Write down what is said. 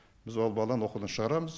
біз ол баланы оқудан шығарамыз